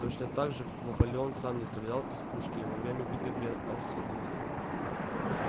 точно так же как наполеон сам не стрелял из пушки во время битвы при аустерлице